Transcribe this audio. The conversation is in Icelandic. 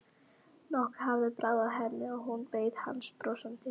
Nokkuð hafði bráð af henni og hún beið hans brosandi.